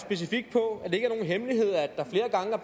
så